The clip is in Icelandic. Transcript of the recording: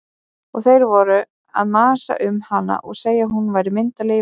Og þeir voru að masa um hana og segja hvað hún væri myndarleg í verkum.